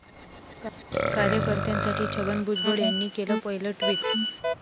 कार्यकर्त्यांसाठी छगन भुजबळ यांनी केलं पहिलं ट्विट